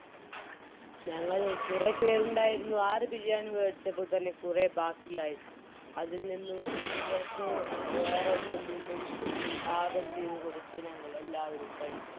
ഞങ്ങൾ കുറെപേരുണ്ടായിരുന്നു ആറ് ബിരിയാണി വെടിച്ചപ്പോൾ തന്നെ കുറെ ബാക്കിയായി അതിൽ നിന്നും കുട്ടികൾക്ക് വേറെ ഒന്നിൽ നിന്നും മ് പാകം ചെയ്ത കൊടുത്ത് ഞങ്ങൾ എല്ലാവരും കഴിച്ചു